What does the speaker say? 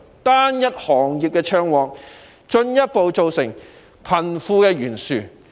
單一行業暢旺，進一步加劇貧富懸殊。